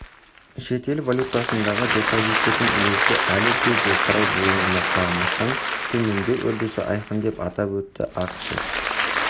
шетел валютасындағы депозиттердің үлесі әлі де жоғары болуына қарамастан төмендеу үрдісі айқын деп атап өтті ақышев